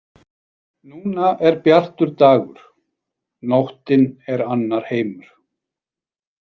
Núna er bjartur dagur, nóttin er annar heimur.